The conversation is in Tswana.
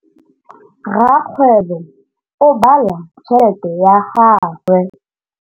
Rakgwêbô o bala tšheletê ya gagwe.